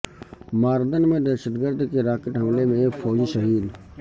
ماردن میں دہشت گرد کے راکٹ حملے میں ایک فوجی شہید